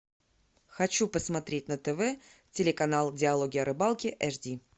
хочу посмотреть на тв телеканал диалоги о рыбалке эйч ди